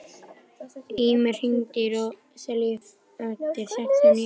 Ýmir, hringdu í Róselíu eftir sextíu og níu mínútur.